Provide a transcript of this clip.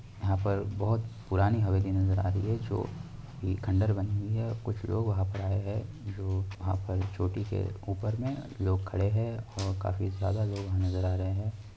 यहां पर बहुत पुरानी हवेली नजर आ रही है जो की खंडर बनी हुई है| कुछ लोग वहाँ पर आए हैं जो वहाँ पर चोटी के ऊपर में लोग खड़े हैं और काफी ज्यादा लोग नजर आ रहे हैं।